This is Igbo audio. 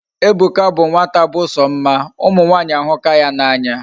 Ebuka bu nwata bu so mma. Umu nwanyi ahuka ya na anya